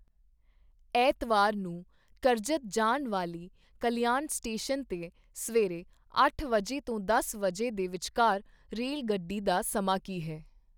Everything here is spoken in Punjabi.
ਐਤਵਾਰ ਨੂੰ ਕਰਜਤ ਜਾਣ ਵਾਲੀ ਕਲਿਆਣ ਸਟੇਸ਼ਨ 'ਤੇ ਸਵੇਰੇ ਅੱਠ ਵਜੇ ਤੋਂ ਦਸ ਵਜੇ ਦੇ ਵਿਚਕਾਰ ਰੇਲਗੱਡੀ ਦਾ ਸਮਾਂ ਕੀ ਹੈ?